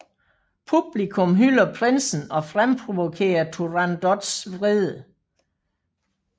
Publikum hylder prinsen og fremprovokerer Turandots vrede